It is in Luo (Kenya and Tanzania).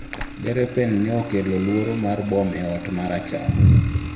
Derepen nokelo luoro mar bom e ot marachar